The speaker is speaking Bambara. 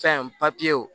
Fɛn papiyew